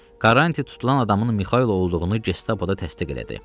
Karrant tutulan adamın Mixayl olduğunu Gestapoda təsdiq elədi.